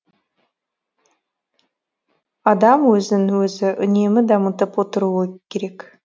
адам өзін өзі үнемі дамытып отыру керек